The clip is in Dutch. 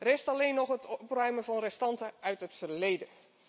Rest alleen nog het opruimen van restanten uit het verleden.